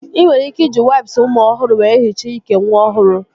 Ị nwere ike iji waips ụmụ ọhụrụ wee hichaa ike nwa ọhụrụ